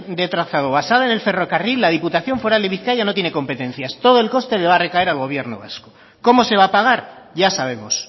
de trazado basada en el ferrocarril la diputación foral de bizkaia no tiene competencias todo el coste le va a recaer al gobierno vasco cómo se va a pagar ya sabemos